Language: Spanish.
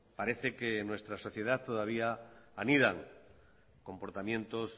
parece que en nuestra sociedad todavía anidan comportamientos